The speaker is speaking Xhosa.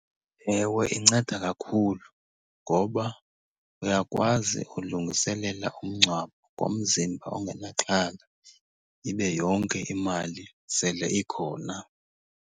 Ewe, inceda kakhulu ngoba uyakwazi ulungiselela umngcwabo ngomzimba ongenaxhala, ibe yonke imali sele ikhona.